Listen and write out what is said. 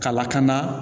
Kalakana